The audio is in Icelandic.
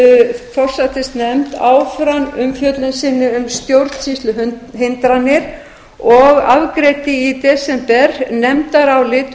forsætisnefnd áfram umfjöllun sinni um stjórnsýsluhindranir og afgreiddi í desember nefndarálit